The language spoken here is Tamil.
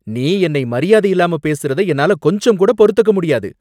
நீ என்னை மரியாதையில்லாம பேசுறத என்னால கொஞ்சம்கூட பொறுத்துக்க முடியாது